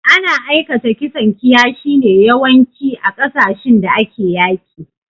Ana aikata kisan kiyashi ne yawanci, a kasashin da ake yaƙi.